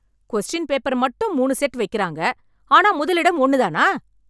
question paper மட்டும் மூணு set வைக்கிறாங்க ஆனா முதலிடம் ஒன்னு தானா